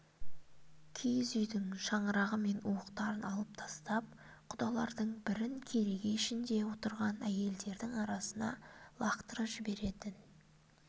киіз үйдің шаңырағы мен уықтарын алып тастап құдалардың бірін кереге ішінде отырған әйелдердің арасына лақтырып жіберетін